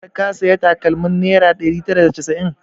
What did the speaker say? Har ka sayi takalmar naira ɗari tara da casa'in?